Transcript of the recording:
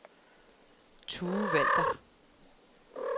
Tue Walther